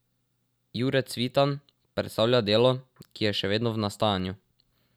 Jure Cvitan predstavlja delo, ki je še vedno v nastajanju.